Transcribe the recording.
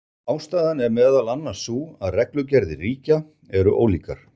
Ástæðan er meðal annars sú að reglugerðir ríkja eru ólíkar.